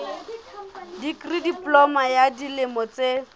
dikri diploma ya dilemo tse